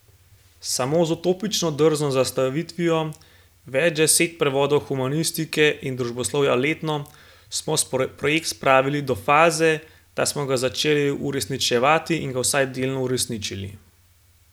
Samo z utopično drzno zastavitvijo, več deset prevodov humanistike in družboslovja letno, smo projekt spravili do faze, da smo ga začeli uresničevati in ga vsaj delno uresničili.